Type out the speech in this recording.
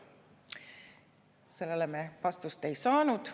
Sellele me vastust ei saanud.